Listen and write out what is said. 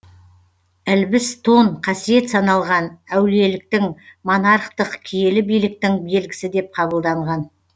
ілбіс тон қасиет саналған әулиеліктің монархтық киелі биліктің белгісі деп қабылданған